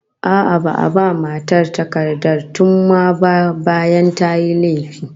A'a, ba'a ba matar takardar thumma ba bayan tayi laifi